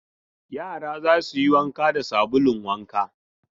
Yara za su yi wanka da sabulun wanka.